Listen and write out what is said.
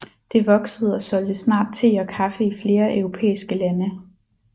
Det voksede og solgte snart te og kaffe i flere europæiske lande